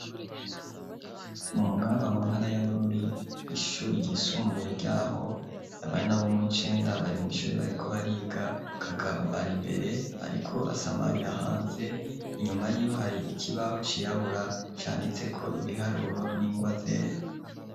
Mu mugamba, mu ntara ya Bururi, ishure ryisumbuye ryaho, abana bo muw'icenda bari mw'ishure bariko bariga, Kagabo ari imbere ariko asamarira hanze, inyuma yiwe hari ikibaho cirabura canditseko ibiharuro n'ingwa zera.